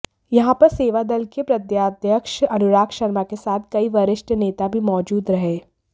यहां पर सेवादल के प्रदेशाध्यक्ष अनुराग शर्मा के साथ कई वरिष्ठ नेता भी मौजूद रहे